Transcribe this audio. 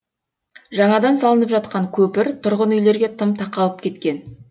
жаңадан салынып жатқан көпір тұрғын үйлерге тым тақалып кеткен